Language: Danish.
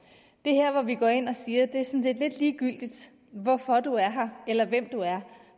det er her vi går ind og siger det er sådan set lidt ligegyldigt hvorfor du er her eller hvem du er